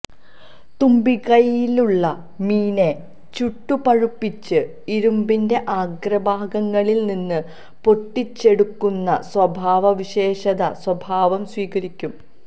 തുമ്പിക്കൈയിലുള്ള മീനെ ചുട്ടുപഴുപ്പിച്ച് ഇരുമ്പിന്റെ അഗ്രഭാഗങ്ങളിൽ നിന്ന് പൊട്ടിച്ചെടുക്കുന്ന സ്വഭാവസവിശേഷത സ്വഭാവം സ്വീകരിക്കും